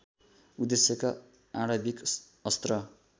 उद्देश्यका आणविक अस्त्र